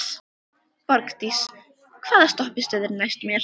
Borgdís, hvaða stoppistöð er næst mér?